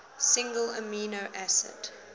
single amino acid